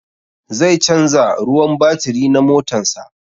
Zai canza ruwan batiri na motan sa